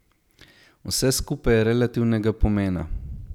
Vse skupaj je relativnega pomena.